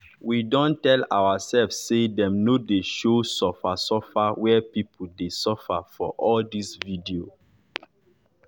we don tell oursef say dem nor dey show suffer suffer wey pipo dey suffer for all dis video